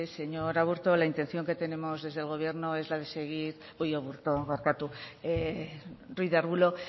señor ruiz de arbulo la intención que tenemos desde el gobierno